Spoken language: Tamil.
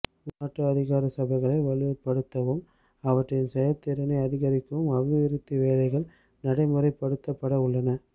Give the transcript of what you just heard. உள்நாட்டு அதிகார சபைகளை வலுப்படுத்தவும் அவற்றின் செயற்திறனை அதிகரிக்கவும் அபிவிருத்தி வேலைகள் நடைமுறைப்படுத்தப்படவுள்ளன